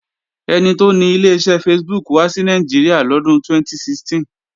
Ẹni tó ni Ileṣẹ́ Facebook wá sí Nàìjíríà lọ́dún 2016